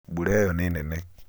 mbura ĩyo ni nene.